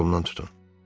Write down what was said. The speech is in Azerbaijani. Qolumdan tutun.